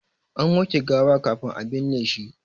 An wanke gawa kafin a binne shi.